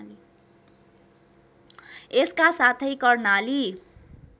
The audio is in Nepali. यसका साथै कर्णाली